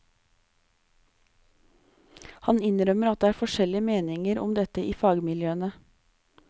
Han innrømmer at det er forskjellige meninger om dette i fagmiljøene.